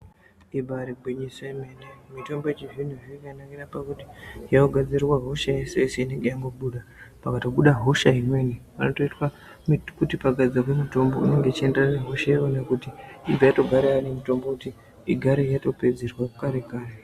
Ibari gwinyiso yemene mutombo yechizvino zvino yakanakira pakuti yakagadzirirwa hosha yese yese inenge yangobuda pakatobuda hosha imweni pakutoitwa muti kuti pagadzirwe mutombo unenge uchienderana nehosha iyona kuti ibva yatoparara nemutombo kuti igare yatopedzerwa kare kare.